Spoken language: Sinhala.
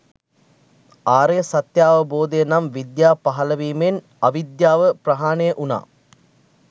ආර්ය සත්‍යාවබෝධය නම් විද්‍යාව පහළ වීමෙන් අවිද්‍යාව ප්‍රහාණය වුණා.